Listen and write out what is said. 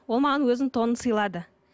ол маған өзінің тонын сыйлады